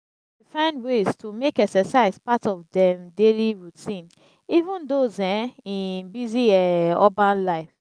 find ways to make exercise part of dem daily routine even those um in busy um urban life.